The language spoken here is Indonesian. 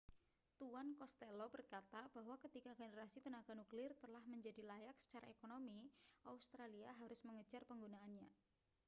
tuan costello berkata bahwa ketika generasi tenaga nuklir telah menjadi layak secara ekonomi australia harus mengejar penggunaannya